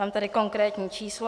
Mám tady konkrétní číslo.